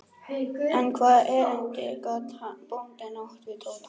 En hvaða erindi gat bóndinn átt við Tóta?